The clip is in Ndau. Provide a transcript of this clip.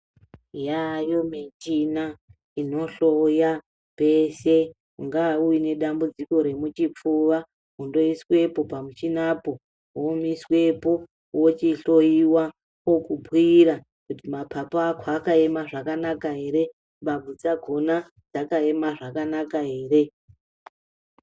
Yayo michina inohloya peshe Ungava une dambudziko remuchipfuva, kundoiswepo pamuchinapo, womiswepo wochihloyiwa vokubhuyira kuti mapapu ako akaema zvakanaka ere, mbabvu dzakona dzakaema zvakanaka ere.